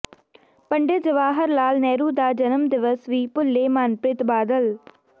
ਪੰਡਿਤ ਜਵਾਹਰ ਲਾਲ ਨਹਿਰੂ ਦਾ ਜਨਮ ਦਿਵਸ ਵੀ ਭੁੱਲੇ ਮਨਪ੍ਰੀਤ ਬਾਦਲ